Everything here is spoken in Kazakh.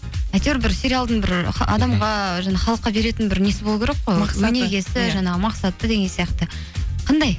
әйтеуір бір сериалдың бір адамға жаңа халыққа беретін бір несі болу керек қой өнегесі жаңағы мақсаты деген сияқты қандай